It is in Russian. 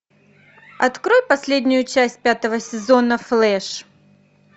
открой последнюю часть пятого сезона флэш